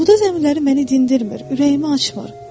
Buğda zəmiləri məni dindirmir, ürəyimi açmır.